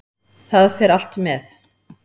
Það fer allt með.